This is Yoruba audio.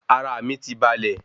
Ara mi ti balè